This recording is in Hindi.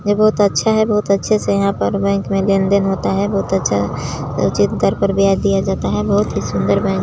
ये बहुत अच्छा है बहुत अच्छे से यहाँ पर बैंक मे लेन-देन होता है बहुत अच्छा दिया जाता है बहुत ही सुंदर--